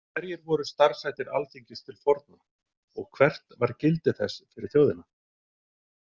Hverjir voru starfshættir Alþingis til forna og hvert var gildi þess fyrir þjóðina?